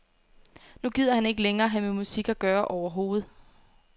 Nu gider han ikke længere have med musik at gøre overhovedet.